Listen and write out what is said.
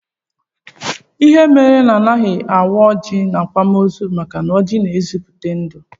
Ihe mere anaghị awa ọjị n'akwamozu bụ maka na ọjị na-ezipụta ndụ